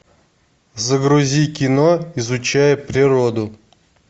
загрузи кино изучая природу